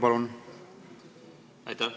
Aitäh!